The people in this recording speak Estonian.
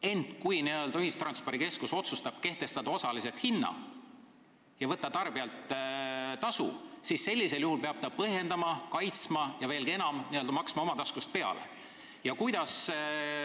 Ent kui ühistranspordikeskus otsustab kehtestada osalise hinna ja võtta tarbijalt tasu, siis peab ta seda otsust põhjendama, kaitsma ja veelgi enam, oma taskust peale maksma.